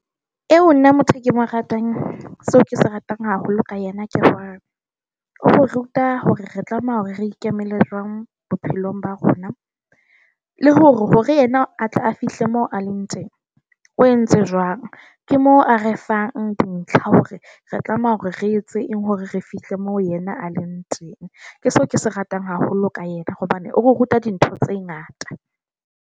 Eo nna motho ke mo ratang seo ke se ratang haholo ka yena. Akere o re ruta hore re tlameha hore re ikemele jwang bophelong ba rona, le hore yena a tle a fihle mo a leng teng, o entse jwang. Ke moo a re fang dintlha hore re tlameha hore re etse eng hore re fihle mo yena a le ntseng ke so ke se ratang haholo ka yena hobane o ruta dintho tse ngata.